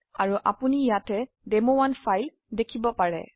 আৰু আপনি ইয়াতে ডেমো1 ফাইল দেখিব পাৰে